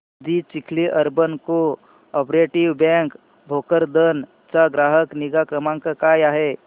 दि Chikhli urban co operative bank Bhokardan चा ग्राहक निगा क्रमांक काय आहे